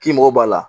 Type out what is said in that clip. K'i mago b'a la